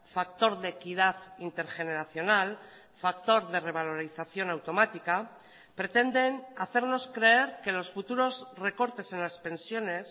factor de equidad intergeneracional factor de revalorización automática pretenden hacernos creer que los futuros recortes en las pensiones